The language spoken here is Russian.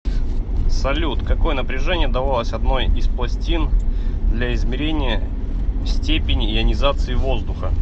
салют какое напряжение давалось одной из пластин для измерения степени ионизации воздуха